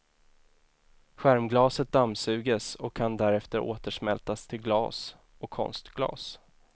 Skärmglaset dammsuges och kan därefter återsmältas till glas och konstglas.